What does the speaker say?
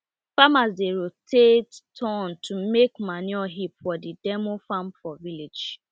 farmers dey rotate turn to make manure heap for the demo farm for village